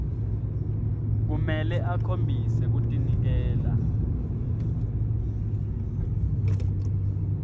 kumele akhombise kutinikela